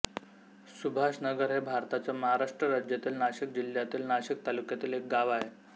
सुभाषनगर हे भारताच्या महाराष्ट्र राज्यातील नाशिक जिल्ह्यातील नाशिक तालुक्यातील एक गाव आहे